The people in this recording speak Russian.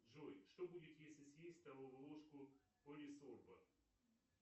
джой что будет если съесть столовую ложку полисорба